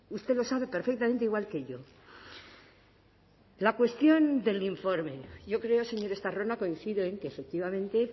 usted lo sabe perfectamente igual que yo la cuestión del informe yo creo señor estarrona coincido en que efectivamente